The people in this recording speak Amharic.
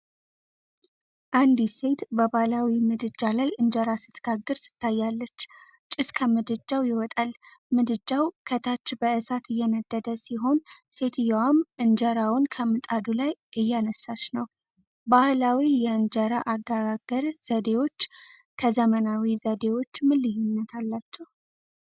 አንዲት ሴት በባህላዊ ምድጃ ላይ እንጀራ ስትጋግር ትታያለች፤ ጭስ ከምድጃው ይወጣል። ምድጃው ከታች በእሳት እየነደደ ሲሆን ሴትየዋም እንጀራውን ከምጣዱ ላይ እያነሳች ነው። ባህላዊ የእንጀራ አገጋገር ዘዴዎች ከዘመናዊ ዘዴዎች ምን ልዩነት አላቸው?